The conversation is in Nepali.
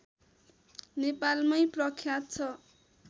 नेपालमै प्रख्यात छ